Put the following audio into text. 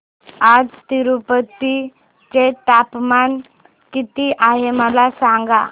आज तिरूपती चे तापमान किती आहे मला सांगा